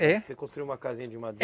É. Você construiu uma casinha de madeira?